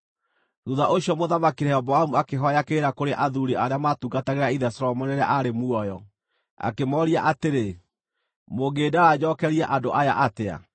Thuutha ũcio Mũthamaki Rehoboamu akĩhooya kĩrĩra kũrĩ athuuri arĩa maatungatagĩra ithe Solomoni rĩrĩa aarĩ muoyo. Akĩmooria atĩrĩ, “Mũngĩndaara njookerie andũ aya atĩa?”